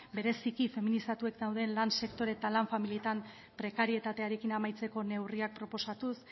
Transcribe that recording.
bereziki feminizatuak dauden lan sektore eta lan familietan prekarietatearekin amaitzeko neurriak proposatuz